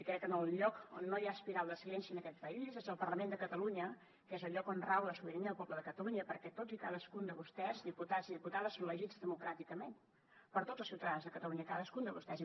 crec que en el lloc on no hi ha espiral de silenci en aquest país és al parlament de catalunya que és el lloc on rau la sobirania del poble de catalunya perquè tots i cadascun de vostès diputats i diputades són elegits democràticament per tots els ciutadans de catalunya cadascun de vostès